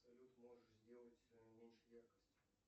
салют можешь сделать меньше яркость